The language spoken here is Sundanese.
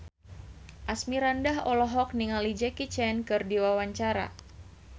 Asmirandah olohok ningali Jackie Chan keur diwawancara